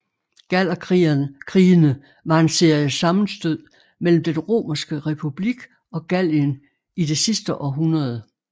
Gallerkrigene var en serie sammenstød mellem Den romerske republik og Gallien i det sidste århundrede f